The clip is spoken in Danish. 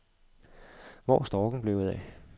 Hvor er storken blevet af.